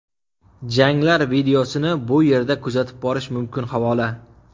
Janglar videosini bu yerda kuzatib borish mumkin havola .